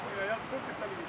Onlar hələ yox.